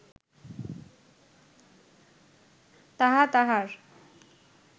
তাহা তাঁহার